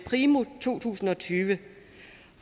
primo to tusind og tyve